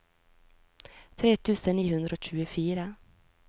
tre tusen ni hundre og tjuefire